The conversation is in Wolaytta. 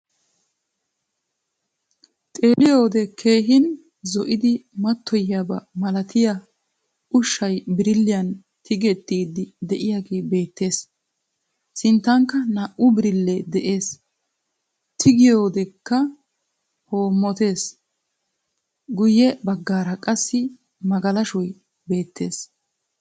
Xeelliyoode keehin zoo"idi maattoyiyaaba malaatiyaa uushshay biirilliyaan tiigettidi de'iyaagee beettees. sinnttankka naa"u birillee de'ees tigiyoodekka hoommottees. guyye baggaara qassi magalashshoy beettees.